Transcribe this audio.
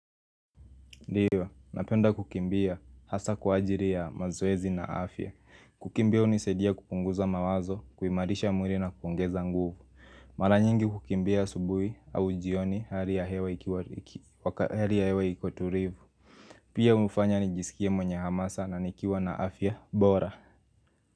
Ndiyo, napenda kukimbia hasa kwa ajilo ya mazezi na afya kukimbia hunisadia kupunguza mawazo, kuimarisha mwili na kuongeza nguvu Mara nyingi kukimbia asubuhi au jioni hali ya hewa ikiwa hali ya hewa iko tulivu Mara nyingi kukimbia asubuhi au jioni hali ya hewa ikiwa.